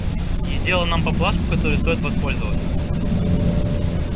и сделал нам поблажку которой стоит воспользоваться